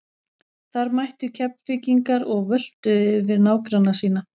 Þar mættu Keflvíkingar og völtuðu yfir nágranna sína.